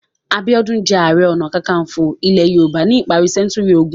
Abiola jẹ́ ààrẹ-ọnà-káńkafo ilẹ̀ Yorùbá ní ìparí sẹ́ńtúrì ogún.